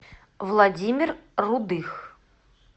владимир рудых